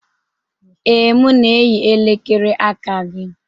Ee, m na-eyi elekere aka gị